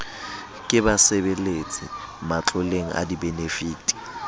ke basebeletsi matloleng a dibenefiti